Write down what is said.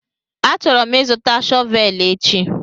Achọrọ m ịzụta shọvel echi